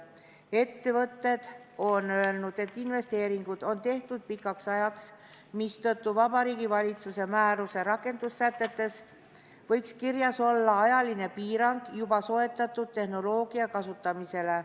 Ettevõtted on öelnud, et investeeringud on tehtud pikaks ajaks, mistõttu Vabariigi Valitsuse määruse rakendussätetes võiks kirjas olla ajaline piirang juba soetatud tehnoloogia kasutamisele.